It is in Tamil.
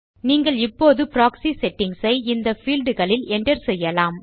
நீங்கள் இப்போது ப்ராக்ஸி செட்டிங்ஸ் ஐ இந்த பீல்ட் களில் enter செய்யலாம்